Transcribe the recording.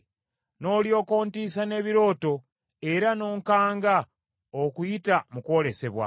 n’olyoka ontiisa n’ebirooto era n’onkanga okuyita mu kwolesebwa.